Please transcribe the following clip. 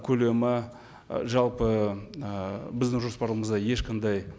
көлемі ы жалпы ы біздің жоспарымызда ешқандай